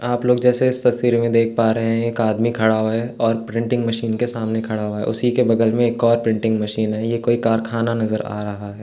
आप लोग जैसे इस तस्वीर में देख पा रहे हैं एक आदमी खड़ा हुवा है और प्रिंटिंग मशीन के सामने खड़ा हुवा है उसीके बगल में एक और प्रिंटिंग मशीन है ये कोई कारखाना नजर आ रहा है।